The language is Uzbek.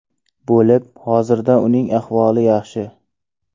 bo‘lib, hozirda uning ahvoli yaxshi.